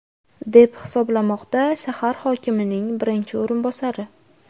deb hisoblamoqda shahar hokimining birinchi o‘rinbosari.